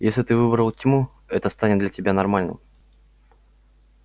если ты выбрал тьму это станет для тебя нормальным